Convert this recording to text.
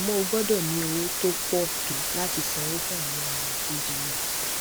àmó o gbódò ní owó tó pò tó láti sanwó fún àwọn òràn tó jẹ mó